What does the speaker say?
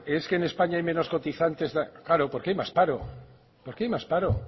hombre es que en españa hay menos cotizantes claro porque hay más paro porque hay más paro